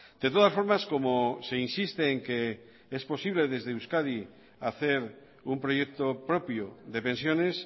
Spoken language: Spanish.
de todas formas como se insiste en que es posible desde euskadi hacer un proyecto propio de pensiones